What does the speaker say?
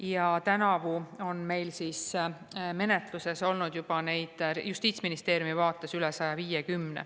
Ja tänavu on meil Justiitsministeeriumi vaates neid menetluses olnud juba 125.